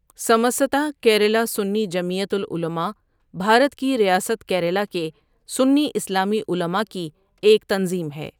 سَمَستا کیرلا سُنّی جمعیت العلماء بھارت کی ریاست کیرلا کے سنی اسلامی علما کی ایک تنظیم ہے ۔